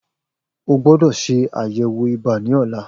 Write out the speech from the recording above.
O gbódò ṣe àyẹ̀wò ibà ní ọ̀la